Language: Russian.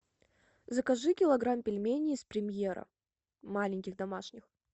закажи килограмм пельменей с премьера маленьких домашних